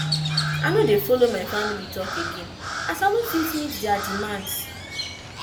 i no dey folo my family talk again as i no fit meet there demands